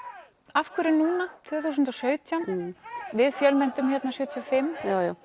af hverju núna tvö þúsund og sautján við fjölmenntum hérna sjötíu og fimm